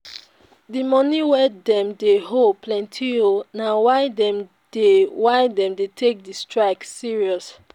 di moni wey dem owe dem plenty o na why dem dey why dem dey take di strike serious.